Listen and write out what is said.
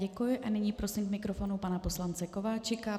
Děkuji a nyní prosím k mikrofonu pana poslance Kováčika.